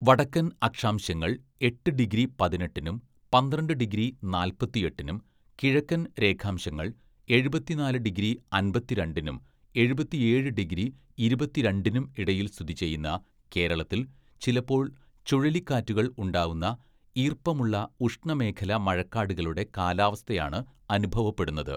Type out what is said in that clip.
വടക്കൻ അക്ഷാംശങ്ങൾ എട്ട് ഡിഗ്രി പതിനെട്ടിനും പന്ത്രണ്ട് ഡിഗ്രി നാല്‍പത്തിയെട്ടിനും, കിഴക്കൻ രേഖാംശങ്ങൾ എഴുപത്തിനാല് ഡിഗ്രി അമ്പത്തിരണ്ടിനും എഴുപത്തിയേഴ് ഡിഗ്രി ഇരുപത്തിരണ്ടിനും ഇടയിൽ സ്ഥിതിചെയ്യുന്ന കേരളത്തിൽ ചിലപ്പോൾ ചുഴലിക്കാറ്റുകൾ ഉണ്ടാവുന്ന, ഈർപ്പമുള്ള ഉഷ്ണമേഖലാമഴക്കാടുകളുടെ കാലാവസ്ഥയാണ് അനുഭവപ്പെടുന്നത്.